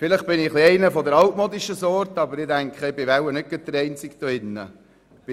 Vielleicht bin ich etwas altmodisch, aber ich bin wohl hier nicht der Einzige im Saal.